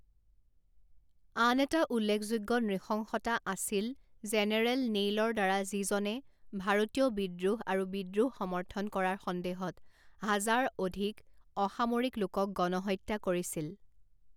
আন এটা উল্লেখযোগ্য নৃশংসতা আছিল জেনেৰেল নেইলৰ দ্বাৰা যিজনে ভাৰতীয় বিদ্ৰোহ আৰু বিদ্ৰোহ সমৰ্থন কৰাৰ সন্দেহত হাজাৰ অধিক অসামৰিক লোকক গণহত্যা কৰিছিল।